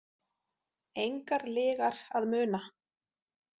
Engar lygar að muna.